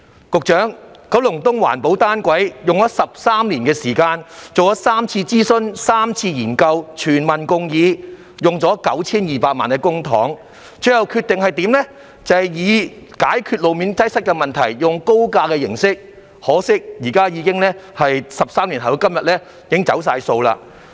局長，我們就九龍東的環保單軌列車計劃花了13年時間，進行過3次諮詢、3次研究，經過全民共議，耗用 9,200 萬元公帑，最後才決定以高架模式解決路面擠塞問題，可惜在13年後的今天，政府已經"走數"。